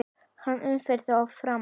Hann umvefur og faðmar.